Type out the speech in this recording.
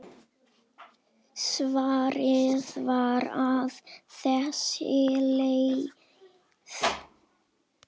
Svarið var á þessa leið